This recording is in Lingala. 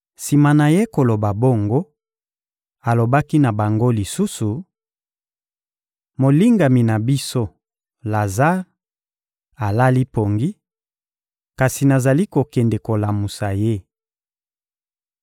Sima na Ye koloba bongo, alobaki na bango lisusu: — Molingami na biso, Lazare, alali pongi; kasi nazali kokende kolamusa ye.